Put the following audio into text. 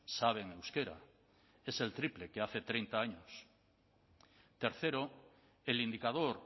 saben euskera es el triple que hace treinta años tercero el indicador